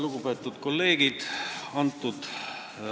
Lugupeetud kolleegid!